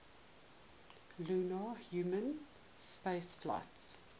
lunar human spaceflights